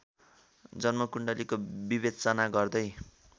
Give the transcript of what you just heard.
जन्मकुण्डलीको विवेचना गर्दै